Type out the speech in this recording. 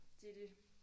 Det er det